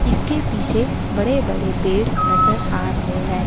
इसके पीछे बड़े बड़े पेड़ नजर आ रहे हैं।